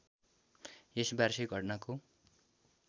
यस वार्षिक घटनाको